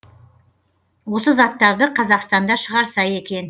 осы заттарды қазақстанда шығарса екен